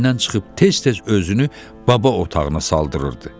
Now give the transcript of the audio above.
dən çıxıb tez-tez özünü baba otağına saldırırdı.